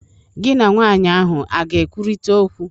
Gị na nwanyị ahụ a ga ekwurịta okwu?